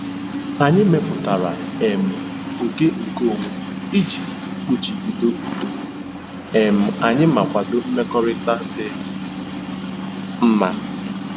Anyị mepụtara um oke nkeonwe iji kpuchido udo um anyị ma kwado mmekọrịta dị mma.